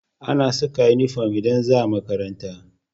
Ana Saka inufom idan zaa makaranta